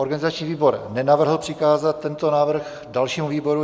Organizační výbor nenavrhl přikázat tento návrh dalšímu výboru.